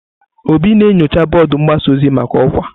Obi na-enyocha bọọdụ mgbasa ozi maka ọkwa.